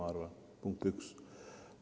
See on punkt üks.